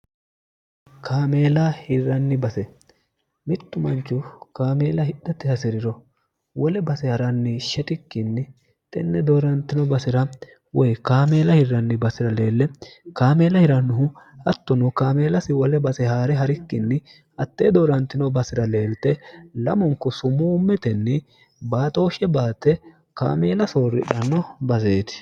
kaameela hirranni base mittu manchu kaameela hidhatti hasi'riro wole base ha'ranni shetikkinni tenne doorantino basira woy kaameela hirranni basi'ra leelle kaameela hirannuhu hattuno kaameelasi wole base haa're ha'rikkinni hattee doorantino basira leelte lamunku sumuu metenni baaxooshshe baatte kaameela soorridhanno baseeti